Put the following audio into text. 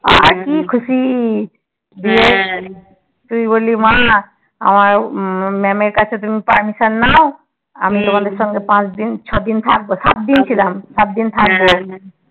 আর কি খুশি হ্যা তুই বললি মা আমার ma'am এর কাছে তুমি permission নাও আমি তোমাদের সাথে তোমাদের সাথে পাঁচ দিন ছ দিন থাকবো সাতদিন ছিলাম সাতদিন থাকবো